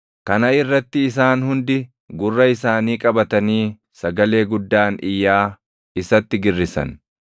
Kana irratti isaan hundi gurra isaanii qabatanii sagalee guddaan iyyaa isatti girrisan.